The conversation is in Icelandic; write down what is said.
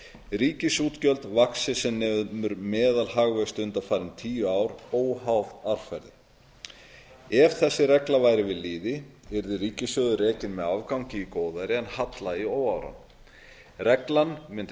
að ríkisútgjöld vaxi sem nemur meðalhagvexti undanfarin tíu ár óháð árferði ef þessi regla væri við lýði yrði ríkissjóður rekinn með afgangi í góðæri en halla í óáran reglan mundi